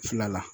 Fila la